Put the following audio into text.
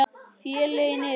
Félögin eru